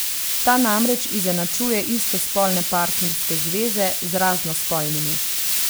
Ta namreč izenačuje istospolne partnerske zveze z raznospolnimi.